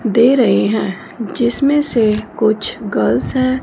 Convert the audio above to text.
दे रहे हैं जिसमें से कुछ गर्ल्स हैं।